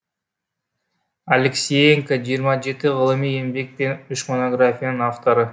алексеенко жиырма жеті ғылыми еңбек пен үш монографияның авторы